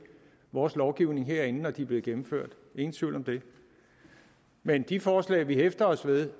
vores lovgivning herinde når de er blevet gennemført ingen tvivl om det men i de forslag vi hæfter os ved